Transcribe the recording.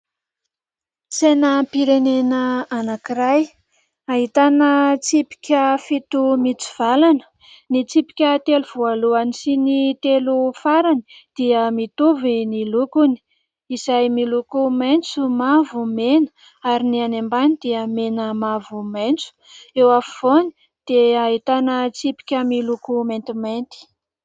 Sainam-pirenena anankiray ahitana tsipika fito mitsivalana. Ny tsipika telo voalohany sy ny telo farany dia mitovy ny lokony, izay miloko maintso, mavo, mena ary ny any ambany dia mena, mavo, maintso. Eo afovoany dia ahitana tsipika miloko mantimainty.